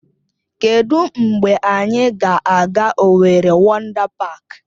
Kedụ mgbe anyị ga-aga Owerri Wọndá Páák?